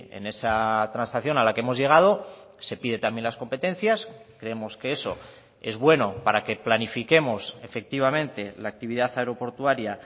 en esa transacción a la que hemos llegado se pide también las competencias creemos que eso es bueno para que planifiquemos efectivamente la actividad aeroportuaria